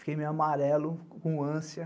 Fiquei meio amarelo, com ânsia.